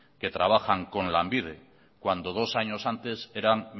que trabajan con lanbide cuando dos años antes eran